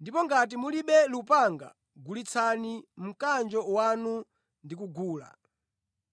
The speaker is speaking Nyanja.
Ndipo ngati mulibe lupanga, gulitsani mkanjo wanu ndi kugula.